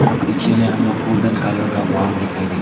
और पीछे में हम लोग गोल्डन कलर का वॉल दिखाई देगा।